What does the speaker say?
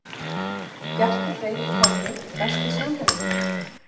Bjarki Freyr í körfu Besti samherjinn?